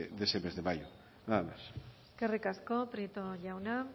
de ese mes de mayo nada más eskerrik asko prieto jauna